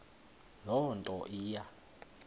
loo nto iya